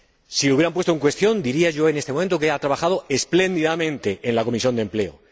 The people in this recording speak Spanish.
Si lo hubieran puesto en cuestión, yo diría en este momento que ella ha trabajado espléndidamente en la Comisión de Empleo.